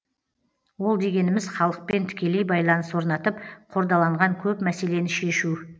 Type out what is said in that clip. ол дегеніміз халықпен тікелей байланыс орнатып қордаланған көп мәселені шешу